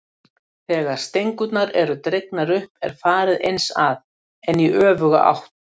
Þegar stengurnar eru dregnar upp er farið eins að, en í öfuga átt.